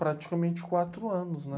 Praticamente quatro anos, né?